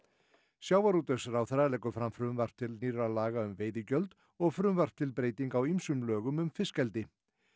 sjávarútvegsráðherra leggur fram frumvarp til nýrra laga um veiðigjöld og frumvarp til breytinga á ýmsum lögum um fiskeldi